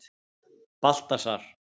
Baltasar